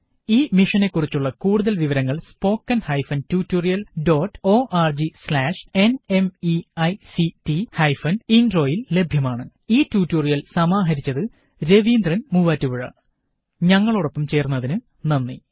ഈ മിഷനെ കുറിച്ചുള്ള കൂടുതല് വിവരങള് spoken hyphen tutorial dot org slash NMEICT hyphen intro യില് ലഭ്യമാണ് 001207 001206 ഈ ട്യൂട്ടോറിയല് സമാഹരിച്ചത് രവീന്ദ്രന് മൂവാറ്റുപുഴ ഞങ്ങളോടൊപ്പം ചേര്ന്നതിന് നന്ദി